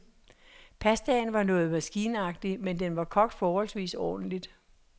Pastaen var noget maskinagtig, men den var kogt forholdsvis ordentligt.